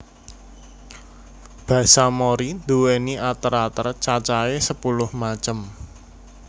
Basa Mori nduwéni ater ater cacahè sepuluh macem